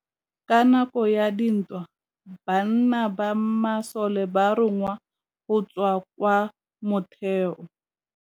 Ka nakô ya dintwa banna ba masole ba rongwa go tswa kwa mothêô.